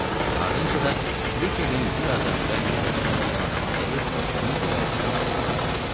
Ardınca da Kviqkin bir az əvvəl yerə çırpdığı adama dəyib, onu göyərtədən suya saldı.